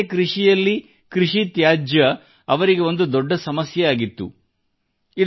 ಇತರರಂತೆ ಕೃಷಿಯಲ್ಲಿ ಕೃಷಿ ತ್ಯಾಜ್ಯ ಅವರಿಗೆ ಒಂದು ದೊಡ್ಡ ಸಮಸ್ಯೆಯಾಗಿತ್ತು